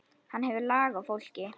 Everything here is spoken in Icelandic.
Hann hefur lag á fólki.